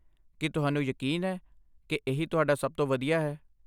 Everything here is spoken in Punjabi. ਕੀ ਤੁਹਾਨੂੰ ਯਕੀਨ ਹੈ ਕਿ ਇਹੀ ਤੁਹਾਡਾ ਸਭ ਤੋਂ ਵਧੀਆ ਹੈ?